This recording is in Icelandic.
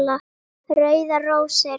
Rauðar rósir